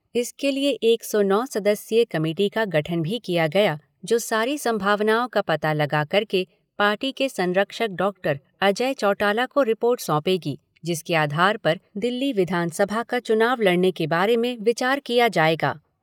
इसके लिए एक सौ नौ सदस्यीय कमेटी का गठन भी किया गया जो सारी संभावनाओं का पता लगा करके पार्टी के संरक्षक डॉक्टर अजय चौटाला को रिपोर्ट सौंपेगी जिसके आधार पर दिल्ली विधानसभा का चुनाव लड़ने के बारे में विचार किया जाएगा।